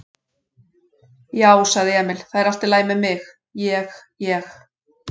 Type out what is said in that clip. Já, sagði Emil, það er allt í lagi með mig. ég. ég.